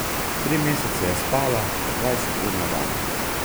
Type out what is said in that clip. Tri mesece je spala po dvajset ur na dan.